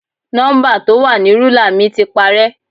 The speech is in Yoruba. Nọ́ḿbà tó wà ní rúlà mi ti parẹ́.